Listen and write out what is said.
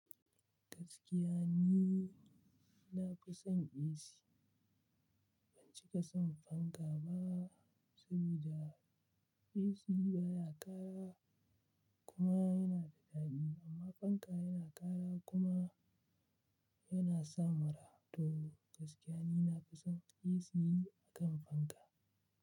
Gaskiya ni, na fi son AC. Ban cika son fanka ba, saboda AC baya ƙara kuma yana da daɗi. Amma fanka yana ƙara kuma yana sa mura. To gaskiya ni na fi son AC akan fanka.